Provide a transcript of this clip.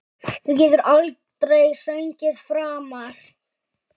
Þú getur aldrei sungið framar